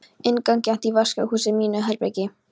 Innangengt í vaskahús úr mínu herbergi.